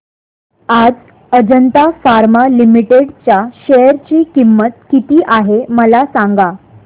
आज Ajanta pharma limited च्या share ची किंमत किती आहे मला सांगा